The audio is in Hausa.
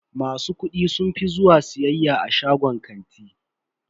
Masu kuɗi sun fi zuwa siyayya a shagunan kanti.